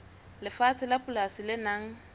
lefatshe la polasi le nang